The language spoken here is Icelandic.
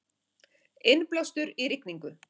Innblástur í rigningu